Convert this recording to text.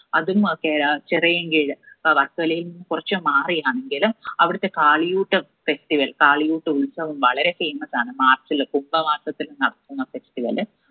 അതും അകെ ആഹ് ചെറിയൻകീഴ് അഹ് വർക്കലായിന്ന് കുറച്ച് മാറി ആണെങ്കിലും അവിടുത്തെ കാളിയൂട്ട് festival കാളിയൂട്ട് ഉത്സവം വളരെ famous ആണ് march ല് കുംഭമാസത്തില് നടക്കുന്ന festival